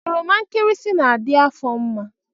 Oroma nkirisi na-adị afọ mma